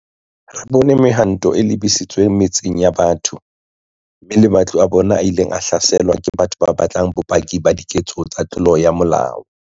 Re bone mehwanto e lebisitsweng metseng ya batho, mme le matlo a bona a ileng a hlaselwa ke batho ba batlang bopaki ba diketso tsa tlolo ya molao.